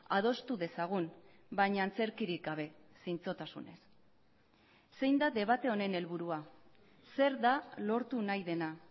adostu dezagun baina antzerkirik gabe zintzotasunez zein da debate honen helburua zer da lortu nahi dena